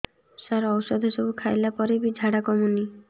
ସାର ଔଷଧ ସବୁ ଖାଇଲା ପରେ ବି ଝାଡା କମୁନି